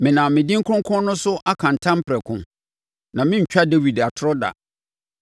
Menam me din kronkron no so aka ntam prɛko, na merentwa Dawid atorɔ da.